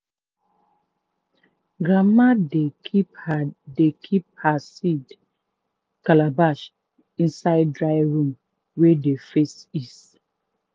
grandma dey keep her dey keep her seed calabash inside dry room wey dey face east.